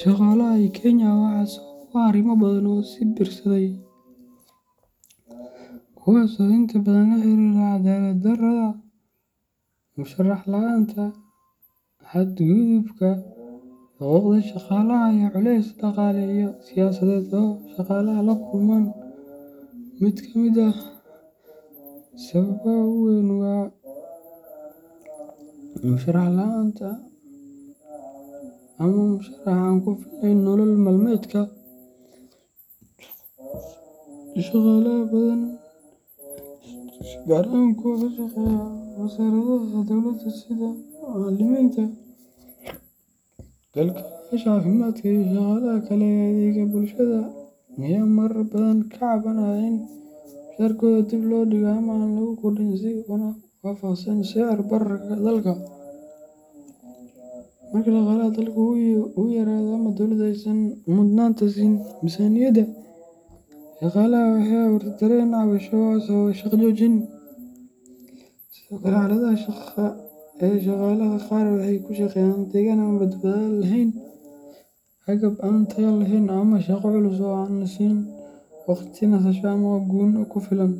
shaqaalaha ee Kenya waxaa sabab u ah arrimo badan oo is biirsaday, kuwaas oo inta badan la xiriira cadaalad darrada, mushahar la’aanta, xadgudubka xuquuqda shaqaalaha, iyo culeysyo dhaqaale iyo siyaasadeed oo ay shaqaalaha la kulmaan. Mid kamid ah sababaha ugu weyn waa mushahar la’aanta ama mushahar aan ku filnayn nolol maalmeedka. Shaqaalaha badan gaar ahaan kuwa ka shaqeeya wasaaradaha dawladda sida macallimiinta, kalkaaliyeyaasha caafimaadka, iyo shaqaalaha kale ee adeegga bulshada ayaa marar badan ka cabanaya in mushaharkooda dib loo dhigo ama aan lagu kordhin si waafaqsan sicir bararka dalka. Marka dhaqaalaha dalka uu yaraado ama dowladda aysan mudnaanta siin miisaaniyadda shaqaalaha, waxay abuurtaa dareen cabasho oo sababa shaqo joojin. Sidoo kale, xaaladaha shaqo ee liita iyo daryeel la’aanta badbaadada shaqaalaha ayaa ah sabab kale oo keenta dibadbaxyo. Shaqaalaha qaar waxay ku shaqeeyaan deegaan aan badbaado lahayn, agab aan tayo lahayn, ama shaqo culus oo aan la siin waqti nasasho ama gunno ku filan.